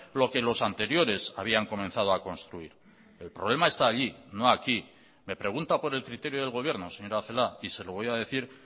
lo que los anteriores habían comenzado a construir el problema está allí no aquí me pregunta por el criterio del gobierno señora celaá y se lo voy a decir